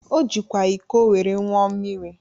O jikwa iko were ńụọ mmiri.